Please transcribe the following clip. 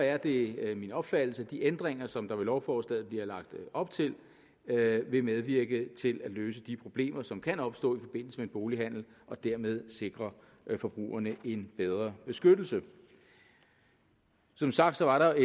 er det min opfattelse at de ændringer som der med lovforslaget er lagt op til vil medvirke til at løse de problemer som kan opstå i forbindelse med en bolighandel og dermed sikre forbrugerne en bedre beskyttelse som sagt var der